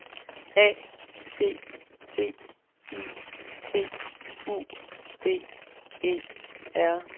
A T T I T U D E R